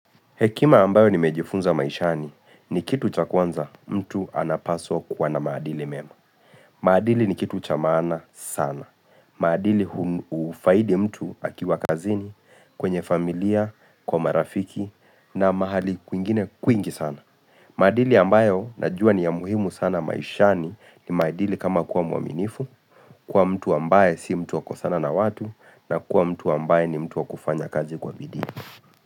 Hekima ambayo nimejifunza maishani ni kitu cha kwanza mtu anapaswa kuwa na maadili mema. Maadili ni kitu cha maana sana. Maadili hufaidi mtu akiwa kazini kwenye familia, kwa marafiki na mahali kwingine kwingi sana. Maadili ambayo najua ni ya muhimu sana maishani ni maadili kama kuwa mwaminifu, kuwa mtu ambaye si mtu wakukosana na watu na kuwa mtu ambaye ni mtu wakufanya kazi kwa bidii.